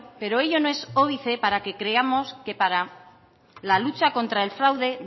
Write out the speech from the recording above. pero ello no es óbice para que creamos que para la lucha contra el fraude